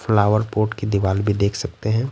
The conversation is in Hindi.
फ्लावर पोट की दीवार भी देख सकते हैं।